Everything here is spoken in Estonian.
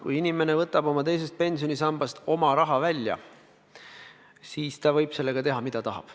Kui inimene võtab teisest pensionisambast oma raha välja, siis ta võib sellega teha, mida tahab.